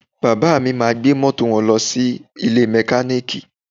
Bàbá mi máa gbé mọ́tò wọn lọ sí ilé mẹkáníìkì